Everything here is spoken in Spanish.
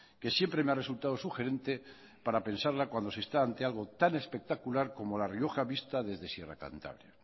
que siempre me ha resultado sugerente para pensarla cuando se está ante algo tan espectacular como la rioja vista desde sierra cantabria